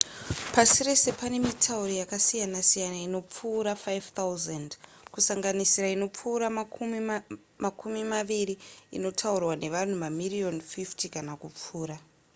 pasi rese pane mitauro yakasiyanasiyana inopfuura 5 000 kusanganisira inopfuura makumi maviri inotaurwa nevanhu mamiriyoni 50 kana kupfuura